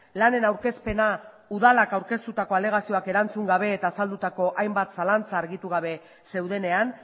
lanen aurkezpena udalak aurkeztutako alegazioak erantzun gabe eta azaldutako hainbat zalantza argitu gabe zeudenean